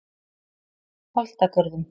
Holtagörðum